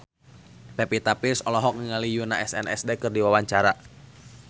Pevita Pearce olohok ningali Yoona SNSD keur diwawancara